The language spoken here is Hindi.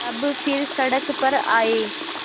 तब फिर सड़क पर आये